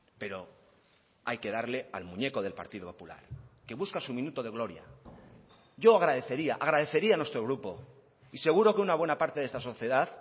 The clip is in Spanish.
pero hay que darle al muñeco del partido popular que busca su minuto de gloria yo agradecería agradecería a nuestro grupo y seguro que una buena parte de esta sociedad